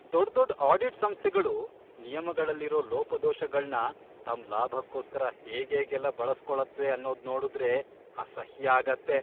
ದೊಡ್ದೊಡ್ audit ಸಂಸ್ಥೆಗಳು ನಿಯಮಗಳಲ್ಲಿರೋ ಲೋಪದೋಷಗಳ್ನ ತಮ್ ಲಾಭಕ್ಕೋಸ್ಕರ ಹೇಗೇಗೆಲ್ಲ ಬಳಸ್ಕೊಳತ್ವೆ ಅನ್ನೋದ್ನೋಡುದ್ರೆ ಅಸಹ್ಯ ಆಗತ್ತೆ.